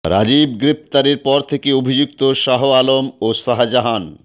রাজীব গ্রেপ্তারের পর থেকে অভিযুক্ত শাহ আলম ও শাহজাহান